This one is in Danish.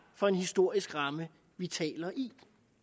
for en historisk ramme vi taler i